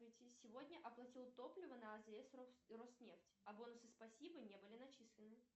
сегодня оплатил топливо на азс роснефть а бонусы спасибо не были начислены